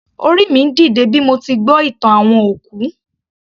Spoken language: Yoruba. Orí mi ń dìde bí mo ti gbọ́ ìtàn àwọn òkú